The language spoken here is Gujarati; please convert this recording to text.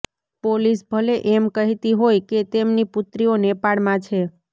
પોલીસ ભલે એમ કહેતી હોય કે તેમની પુત્રીઓ નેપાળમાં છે